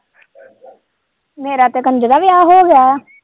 ਮੇਰਾ ਤੇ ਕੰਜ਼ਰਾ ਵਿਆਹ ਹੋ ਗਿਆ।